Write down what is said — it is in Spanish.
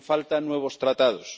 No hacen falta nuevos Tratados.